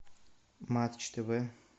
матч тв